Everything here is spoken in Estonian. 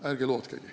Ärge lootkegi.